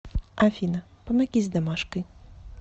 афина помоги с домашкой